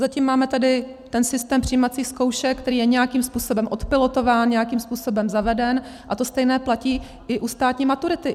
Zatím tady máme ten systém přijímacích zkoušek, který je nějakým způsobem odpilotován, nějakým způsobem zaveden, a to stejné platí i u státní maturity.